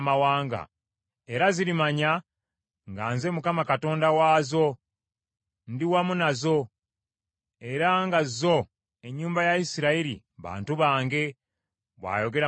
Era zirimanya nga nze Mukama Katonda waazo, ndi wamu nazo, era nga zo, ennyumba ya Isirayiri, bantu bange, bw’ayogera Mukama Katonda.